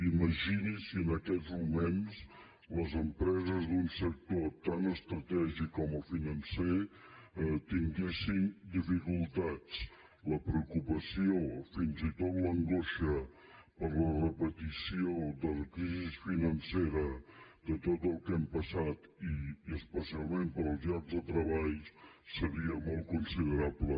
imagini’s si en aquests moments les empreses d’un sector tan estratègic com el financer tinguessin dificultats la preocupació fins i tot l’angoixa per la repetició de la crisi financera de tot el que hem passat i especialment pels llocs de treball serien molt considerables